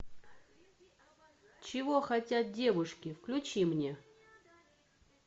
чего хотят девушки включи мне